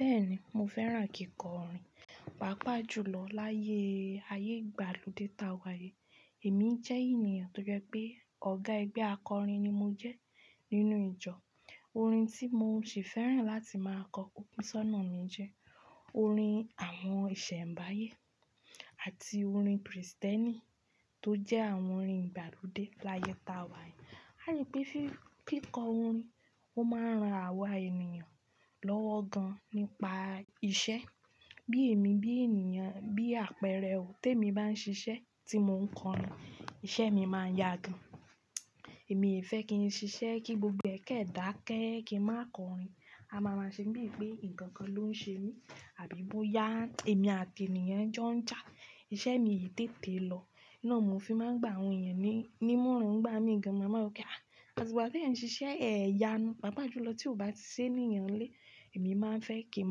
Bẹ́ẹ̀ni, mo fẹ́ràn kíkọ orin, pàápàá jùlọ láyé ayé ìgbàlódé ta wà yìí. Èmi jẹ́ ènìyàn tó jẹ pé ọ̀gá ẹgbẹ́ akọrin ni mo jẹ́ nínú ìjọ. Orin tí mo sì fẹ́ràn láti máa kọ kúkú sọ́nà mi jẹ́ orin àwọn ìṣẹ̀mbáyé àti orin Kristẹni tó jẹ́ àwọn orin ìgbàlódé láyé ta wà yìí. Á rì pé fí, ki kọ orin, ó máa ran àwa ènìyàn lọ́wọ́ gan nípa iṣẹ́. Bí èmi bí ènìyàn, bí àpẹẹrẹ, te mi máa ń ṣiṣẹ́ tí mo ń kọ orin, iṣẹ́ mi máa ń yá gan. Èmi fẹ́ kí n ṣiṣẹ́ kí gbogbo ẹkẹ dà kẹ́ẹ́ kí n máa kọ orin. A máa máa ṣe bíi pé nǹkan kan ló ń ṣe mí àbí bóyá èmi àti ènìyàn jọ ń jà, iṣẹ́ mi ò tètè lọ. Iná mi ò fi máa ń gbá àwọn ènìyàn ní, nímọ̀ràn ń gbá mi gan. Ma máa wo pé, àti ìgbà tí ẹ̀ ń ṣiṣẹ́, ẹ́ yá nu. Pàápàá jùlọ tí ó bá ti sé ní ìyanlẹ́, èmi máa ń fẹ́ kí n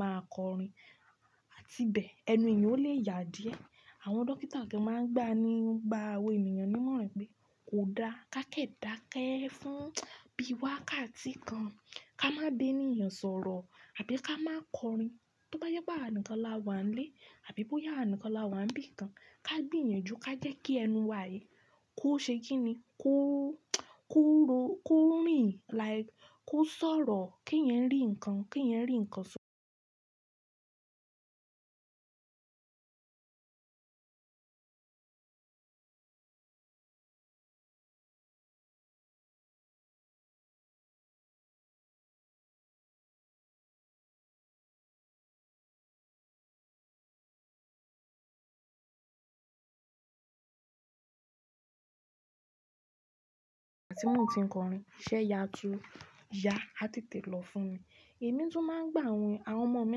máa kọ orin. Àti bẹ́ẹ̀, ẹnu ènìyàn ó lè yá díẹ̀. Àwọn dókítà kí wọ́n máa ń gbá ni, gbá àwọn ènìyàn nímọ̀ràn pé kò da ká kẹ́ dà kẹ́ fún bí wá ká ti kan, ká má bé ènìyàn sọ̀rọ̀ àbí ká má kọ orin. Tó bá je pe àwa nnkan láwà nílé àbí bóyá awa nnkan láwà ń bí kan, ká gbi yàn jù, ká jẹ́ kí ẹnu wa yìí kó ṣe kíni, kó, kó ro, kó rìn, like kó sọ̀rọ̀ kí ẹ̀eyan rí ǹkan, kí ẹ̀eyan rí ǹkan só. Àti mó tí ń kọ orin, iṣẹ́ yá ju, yá àti tètè lọ fún mi. Èmi tún máa ń gbá àwọn, àwọn ọmọ mi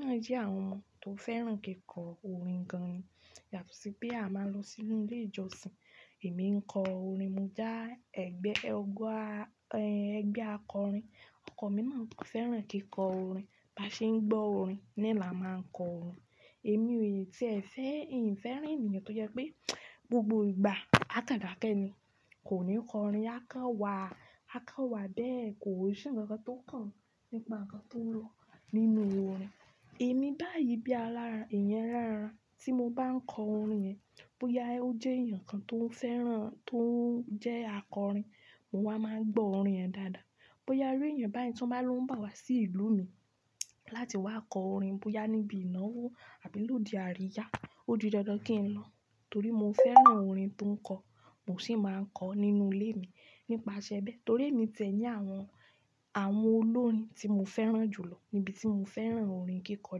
náà jẹ́ àwọn ọmọ tó fẹ́ràn kíkọ orin gan. Yàtọ̀ sí bí a máa ń lọ sínú ilé ìjọsìn, èmi ń kọ orin, mo já ẹgbẹ́ ọgọ́ a, ẹgbẹ́ akọrin. Ọkọ mi náà fẹ́ràn kíkọ orin. Bá ṣe ń gbọ́ orin ni làá máa ń kọ orin. Èmi ò ì tí è fẹ́, ì ń fẹ́ràn ènìyàn tó jẹ́ pé gbogbo ìgbà a ká dà kẹ́ ẹni, kò ní kọ orin, a ká wà, a ká wà bẹ́ẹ̀ kò sì ǹkan kan tó kàn nípa ǹkan tó ń lọ nínú orin. Ẹ̀ mi báyìí bí alára, ẹ̀eyan ala ra. Tí mo bá ń kọ orin yẹn, bóyá ó jẹ́ ènìyàn kan tó ń fẹ́ràn, tó ń jẹ́ akọrin, mo wá máa ń gbọ́ orin rẹ̀ dáadáa. Bóyá rí ẹ̀yàn báyìí tí wọ́n bá lọ ń bá wa sí ìlú mi láti wá kọ orin, bóyá níbi ìnáwó àbí lódi àríyá, ó di dandan kí n lọ torí mo fẹ́ràn orin tó ń kọ. Mo sì máa ń kọ ọ́ nínú ilé mi nípasẹ̀ bẹ́ẹ̀ torí èmi tẹ̀lé àwọn, àwọn olórin tí mo fẹ́ràn jùlọ níbi tí mo fẹ́ràn orin kíkọ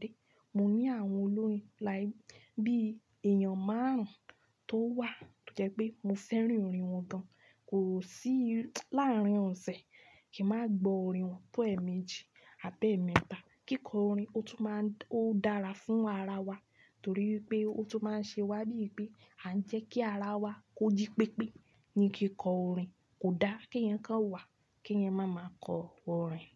dé. Mo ní àwọn olórin like bí èèyàn márùn-ún tó wà tó jẹ́ pé mo fẹ́ràn orin wọn gan. Kò sí láàrin òse kí n má gbo orin wọn tó ẹ̀ẹ̀mejì Abi eemeta. Kíkọ orin ó tún máa ń, ó dára fún ara wa torí pé ó tún máa ń ṣe wa bíi pé a ń jẹ́ kí ara wa kó jí pépé ní kíkọ orin. Kò da kí eyan kan wà kí ẹ̀yin máa máa kọ orin.